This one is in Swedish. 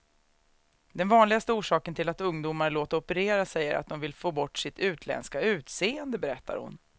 Den vanligaste orsaken till att ungdomar låter operera sig är att de vill få bort sitt utländska utseende, berättar hon.